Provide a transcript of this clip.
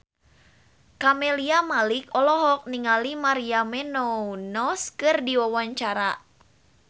Camelia Malik olohok ningali Maria Menounos keur diwawancara